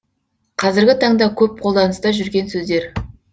қазіргі таңда көп қолданыста жүрген сөздер